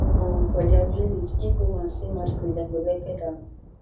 um for dia village if woman see masquerade dem go naked am